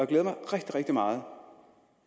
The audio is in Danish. glæder mig rigtig rigtig meget